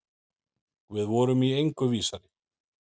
Við vorum í engu vísari.